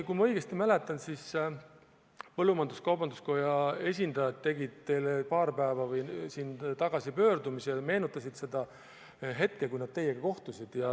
Kui ma õigesti mäletan, siis põllumajandus-kaubanduskoja esindajad tegid teile paar päeva tagasi pöördumise, nad meenutasid seda hetke, kui nad teiega kohtusid.